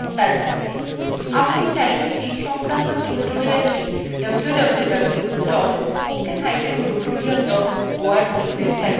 আপনি চাইলে সেই সংক্রান্ত tutorialthe www spokentutorial org ওএবসাইটএ দেখতে পারেন